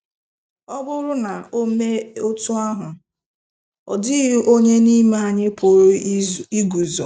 Ọ bụrụ na o mee otú ahụ, ọ dịghị onye n’ime anyị pụrụ iguzo.